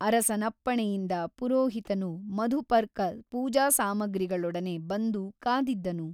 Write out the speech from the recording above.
ಅರಸನಪ್ಪಣೆಯಿಂದ ಪುರೋಹಿತನು ಮಧುಪರ್ಕ ಪೂಜಾಸಾಮಗ್ರಿಗಳೊಡನೆ ಬಂದು ಕಾದಿದ್ದನು.